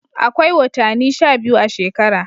Akwai wotani sha biyu a shekara.